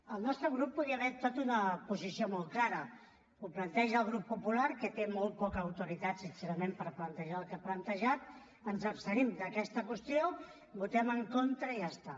el nostre grup podria haver adoptat una posició molt clara ho planteja el grup popular que té molt poca autoritat sincerament per plantejar el que ha plantejat ens abstenim d’aquesta qüestió hi votem en contra i ja està